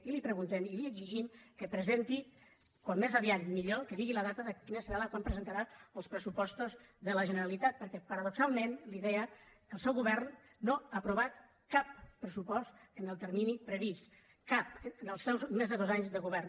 i li preguntem i li exigim que presenti com més aviat millor que digui la data quina serà quan presentarà els pressupostos de la generalitat perquè paradoxalment li deia el seu govern no ha aprovat cap pressupost en el termini previst cap en els seus més de dos anys de govern